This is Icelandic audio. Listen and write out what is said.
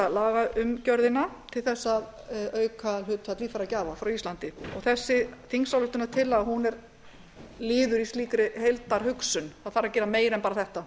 lagaumgjörðina til þess að auka hlutfall líffæragjafa frá íslandi þessi þingsályktunartillaga er liður í slíkri heildarhugsun það þarf að gera meira en bara þetta